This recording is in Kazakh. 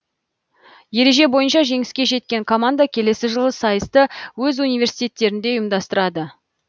ереже бойынша жеңіске жеткен команда келесі жылы сайысты өз университеттерінде ұйымдастырады